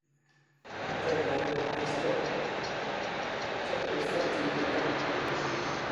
Hadda daawo ma haysto sharcifaTVda